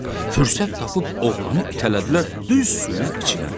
Fürsət tapıb oğlanı itələdilər düz suyun içinə.